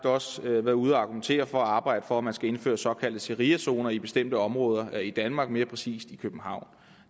også været ude at argumentere for at arbejde for at man skal indføre såkaldte shariazoner i bestemte områder i danmark mere præcist i københavn